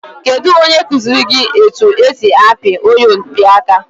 Kedu onye kụziri etu esi apị oyompịaka?